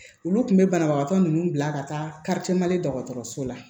Olu kun be banabagatɔ nunnu bila ka taa dɔgɔtɔrɔso la